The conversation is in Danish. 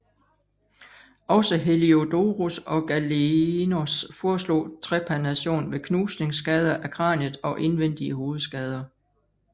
Også Heliodorus og Galenos foreslog trepanation ved knusningsskader af kraniet og indvendige hovedskader